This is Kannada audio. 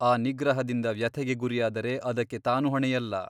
ಆ ನಿಗ್ರಹದಿಂದ ವ್ಯಥೆಗೆ ಗುರಿಯಾದರೆ ಅದಕ್ಕೆ ತಾನು ಹೊಣೆಯಲ್ಲ.